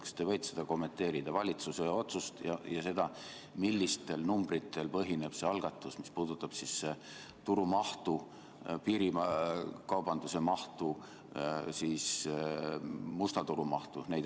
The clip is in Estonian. Kas te võite kommenteerida valitsuse otsust ja seda, millistel numbritel põhineb see algatus, mis puudutab turu mahtu, piirikaubanduse mahtu, musta turu mahtu?